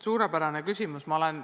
Suurepärane küsimus!